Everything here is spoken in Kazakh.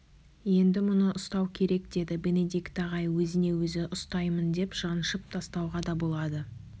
енді мұны ұстау керек деді бенедикт ағай өзіне өзі ұстаймын деп жаншып тастауға да болады